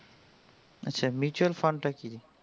আচ্ছা mutual fund তা কি জিনিস?